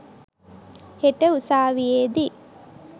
හෙට උසාවියේ දී.